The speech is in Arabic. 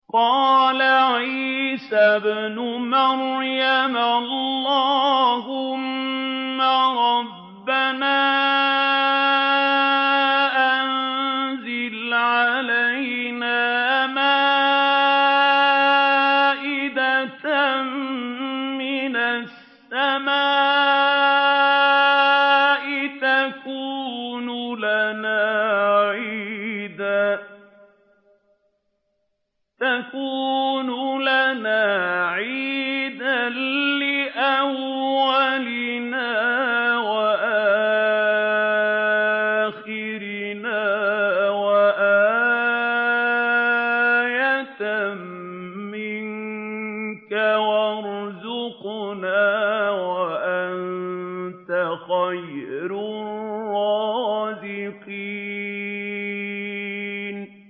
قَالَ عِيسَى ابْنُ مَرْيَمَ اللَّهُمَّ رَبَّنَا أَنزِلْ عَلَيْنَا مَائِدَةً مِّنَ السَّمَاءِ تَكُونُ لَنَا عِيدًا لِّأَوَّلِنَا وَآخِرِنَا وَآيَةً مِّنكَ ۖ وَارْزُقْنَا وَأَنتَ خَيْرُ الرَّازِقِينَ